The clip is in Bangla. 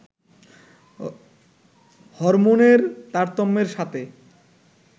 হরমোনের তারতম্যের সাথে